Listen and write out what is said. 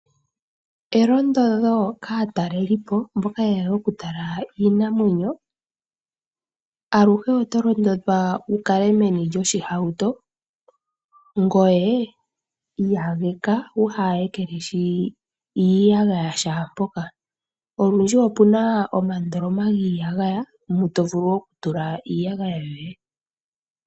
Elondodho kaatalelipo mboka yehole okutala iinamwenyo aluhe otaya londodhwa wukale meni lyoshihauto, ngoye iyageka wuhaa yekelehi iiyagaya shaampoka, olundji opuna omandoloma giiyagaya mu tovulu okutula iiyagaya yoye.